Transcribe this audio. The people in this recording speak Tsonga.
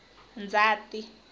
ndzati